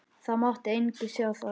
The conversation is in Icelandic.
Það mátti enginn sjá það.